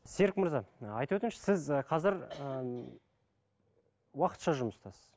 серік мырза ы айтып өтіңізші сіз і қазір ы уақытша жұмыстасыз